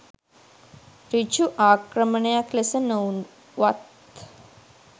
සෘජු ආක්‍රමණයක් ලෙස නොවුවත්